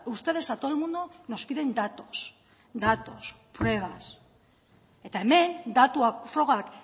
ustedes a todo el mundo nos piden datos datos pruebas eta hemen datuak frogak